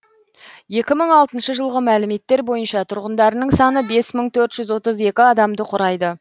екі мың алтыншы жылғы мәліметтер бойынша тұрғындарының саны бес мың төрт жүз отыз екі адамды құрайды